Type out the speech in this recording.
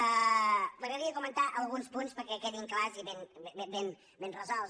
m’agradaria comentar alguns punts perquè quedin clars i ben resolts